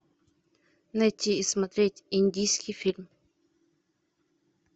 найти и смотреть индийский фильм